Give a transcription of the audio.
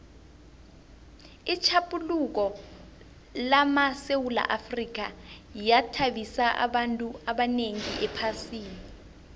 itjhaphuluko lamasewula afrika yathabisa abantu abanengi ephasini